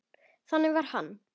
Þannig var hann.